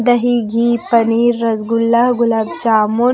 दही घी पनीर रसगुल्ला गुलाब जामुन--